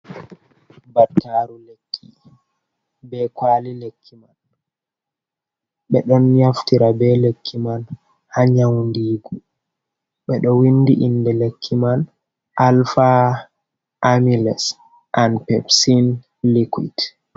Battaru lekki be kwali lekki man, ɓeɗon naftira be lekki man ha nyaundigu ɓeɗo windi inde lekki man alpha amylase an pepsin liquit.